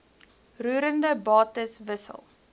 roerende bates wissel